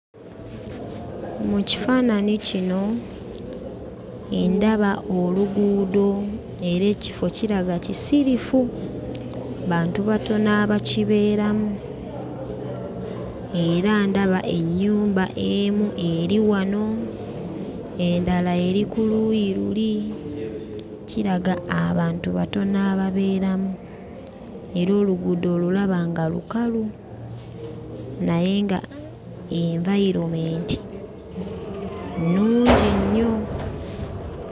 Mu kifaananyi kino ndaba oluguudo era ekifo kiraga kisirifu. Bantu batono abakibeeramu, era ndaba ennyumba emu eri wano, endala eri ku luuyi luli, kiraga abantu batono ababeeramu era oluguudo olulaba nga lukalu, naye ng'envayiromenti nnungi nnyo.